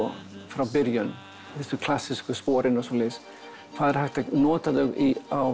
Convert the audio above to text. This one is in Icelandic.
frá byrjun þessi klassísku spor og svoleiðis hvað er hægt að nota þau á